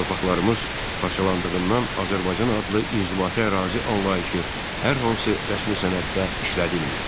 Torpaqlarımız parçalandığından Azərbaycan adlı inzibati ərazi anlayışı hər hansı rəsmi sənəddə işlədilmirdi.